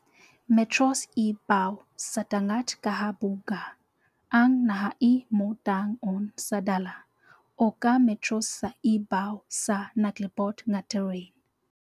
metros ibabaw sa dagat kahaboga ang nahimutangan sa Ddhäla, o ka metros sa ibabaw sa naglibot nga tereyn.